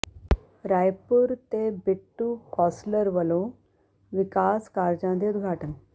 ਰਾਏਪੁਰ ਤੇ ਬਿੱਟੂ ਕੌਾਸਲਰ ਵੱਲੋਂ ਵਿਕਾਸ ਕਾਰਜਾਂ ਦੇ ਉਦਘਾਟਨ